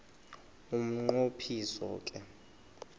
umnqo phiso ke